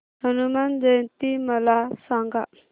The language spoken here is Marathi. हनुमान जयंती मला सांगा